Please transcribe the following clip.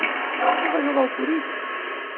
Ah, vai jogar o Corinthians?